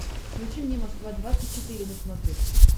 включи мне москва двадцать четыре на смотрешке